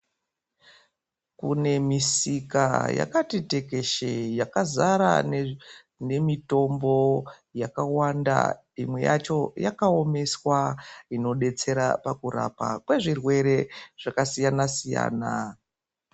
Kune misika yakati tekeshe yakazara neemitombo yakawanda imwe yacho yakaomeswa inodetsera kurapa kwezvirwere zvakasiyana siyana.